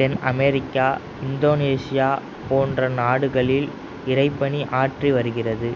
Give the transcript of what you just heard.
தென் Africa Indonesia போன்ற நாடுகளில் இறைப்பணி ஆற்றி வருகிறது